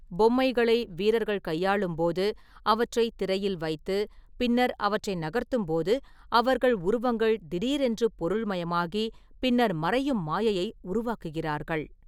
பொம்மைகளை வீரர்கள் கையாளும்போது, அவற்றை திரையில் வைத்து, பின்னர் அவற்றை நகர்த்தும்போது, அவர்கள் உருவங்கள் திடீரென்று பொருள்மயமாகி, பின்னர் மறையும் மாயையை உருவாக்குகிறார்கள்.